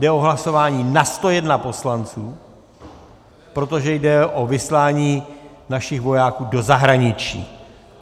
Jde o hlasování na 101 poslanců, protože jde o vyslání našich vojáků do zahraničí.